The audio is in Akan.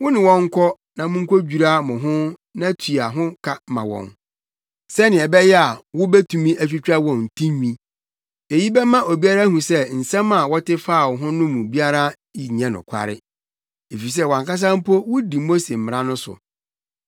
Wo ne wɔn nkɔ na munkodwira mo ho na tua ho ka ma wɔn sɛnea ɛbɛyɛ a, wobetumi atwitwa wɔn tinwi. Eyi bɛma obiara ahu sɛ nsɛm a wɔte faa wo ho no mu biara nyɛ nokware, efisɛ wʼankasa mpo wudi Mose mmara no so.